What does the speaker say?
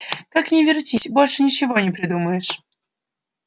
как ни вертись больше ничего не придумаешь